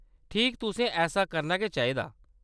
ठीक, तुसें ऐसा करना गै चाहिदा।